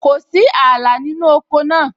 Kò sí ààlà nínú oko náà